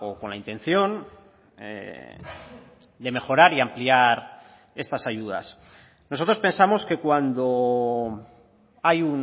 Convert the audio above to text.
con la intención de mejorar y ampliar estas ayudas nosotros pensamos que cuando hay